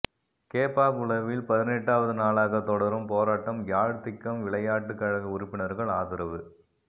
கேப்பாபுலவில் பதினெட்டாவது நாளாக தொடரும் போராட்டம் யாழ் திக்கம் விளையாட்டு கழக உறுப்பினர்கள் ஆதரவு